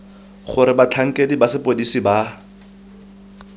gore batlhankedi ba sepodisi ba